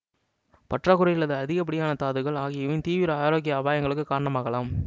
பற்றாக்குறை அல்லது அதிகப்படியான தாதுக்கள் ஆகியவையும் தீவிர ஆரோக்கிய அபாயங்களுக்கு காரணமாகலாம்